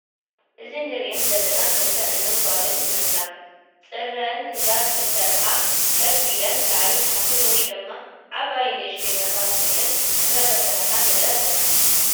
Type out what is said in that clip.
እዚንንርአን ዘለና ክልተ እኖን ጋልን ይመስላ ፅግረን እዳተሳርሓ ከፍ ኢለን ላዕልን ታሓትን ወይ ድማ ዓባይን ንእሽተይን ኣሕዋት ኮይነን እዳተሰራሓ ንርኢ ኣለና።